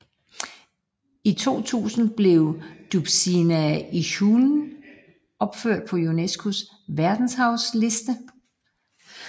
I 2000 blev Dobšiná Ishulen opført på UNESCOs verdensarvsliste